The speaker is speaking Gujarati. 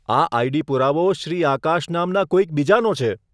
આ આઈડી પુરાવો શ્રી આકાશ નામના કોઈક બીજાનો છે,